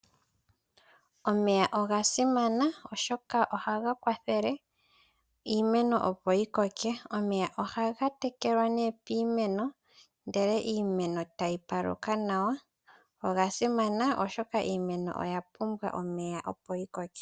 Omeya oga simana, oshoka ohaga kwathele iimeno opo yi koke. Omeya ohaga tekelwa piimeno ndele iimeno e tayi paluka nawa. Oga simana, oshoka iimeno oya pumbwa omeya opo yi koke.